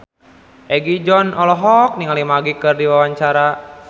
Egi John olohok ningali Magic keur diwawancara